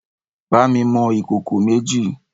Bá mi mọ ìkòkò méjì!